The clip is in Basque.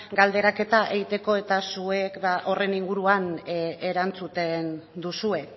galderak egiteko eta zuek horren inguruan erantzuten duzue